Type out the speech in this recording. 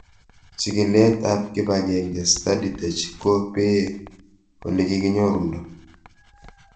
Chig'ilet ab kipag'eng'e StudyTech ko pee ole kikinyorundo